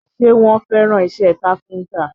Ṣé wọ́n fẹ́ràn isẹ́ káfíntà?